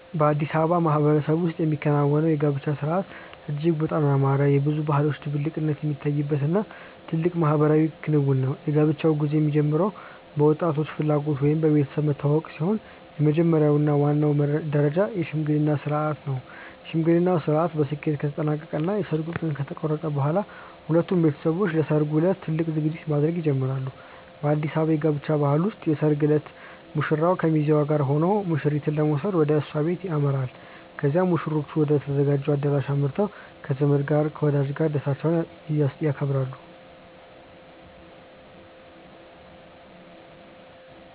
በአዲስ አበባ ማህበረሰብ ውስጥ የሚከናወነው የጋብቻ ሥርዓት እጅግ በጣም ያማረ፣ የብዙ ባህሎች ድብልቅነት የሚታይበት እና ትልቅ ማህበራዊ ክንውን ነው። የጋብቻው ጉዞ የሚጀምረው በወጣቶቹ ፍላጎት ወይም በቤተሰብ መተዋወቅ ሲሆን፣ የመጀመሪያው እና ዋናው ደረጃ የሽምግልና ሥርዓት ነው። የሽምግልናው ሥርዓት በስኬት ከተጠናቀቀ እና የሰርጉ ቀን ከተቆረጠ በኋላ፣ ሁለቱም ቤተሰቦች ለሠርጉ ዕለት ትልቅ ዝግጅት ማድረግ ይጀምራሉ። በአዲስ አበባ የጋብቻ ባህል ውስጥ የሰርግ ዕለት ሙሽራው ከሚዜዎቹ ጋር ሆኖ ሙሽሪትን ለመውሰድ ወደ እሷ ቤት ያመራል። ከዚያም ሙሽሮቹ ወደ ተዘጋጀው አዳራሽ አምርተው ከዘመድ እና ከወዳጅ ጋር ደስታቸውን ያከብራሉ።